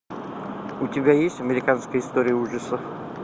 у тебя есть американская история ужасов